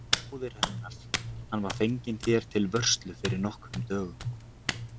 Bróðir hennar, hann var fenginn þér til vörslu fyrir nokkrum dögum.